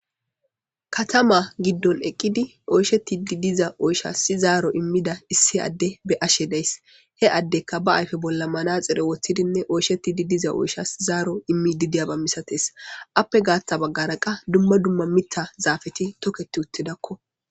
Katama gidon eqidi oyishetida oyishas zaro imida issi adeya be'ays he adeyka ba ayipe bolla manaxire wothidinee oyishetidi diza oyishas zaro imidi de'aba misatetes eyape gatha bagara qa duma duma mitha zapeti toketi uti utidako